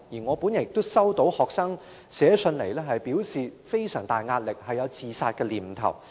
我也收到學生來信表示非常大壓力，並有自殺念頭。